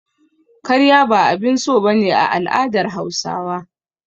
Karya ba abin so ba ne a al'adar Hausawa.